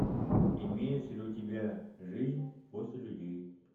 имеется ли у тебя жизнь после людей